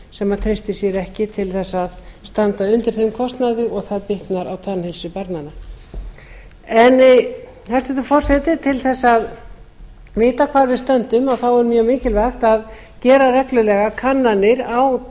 sem treystir sér ekki til þess að standa undir þeim kostnaði og það bitnar á tannheilsu barnanna hæstvirtur forseti til þess að vita hvar við stöndum er mjög mikilvægt að gera reglulega kannanir á